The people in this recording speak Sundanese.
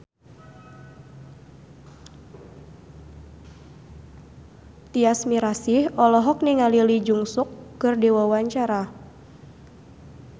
Tyas Mirasih olohok ningali Lee Jeong Suk keur diwawancara